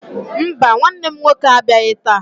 Mba, nwanne m nwoke abịaghị taa.